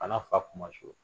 A n'a fa kumasuli